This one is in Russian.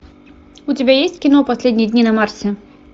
у тебя есть кино последние дни на марсе